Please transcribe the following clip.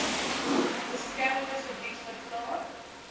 beskermde gebied verklaar